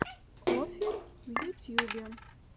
оффер в ютьюбе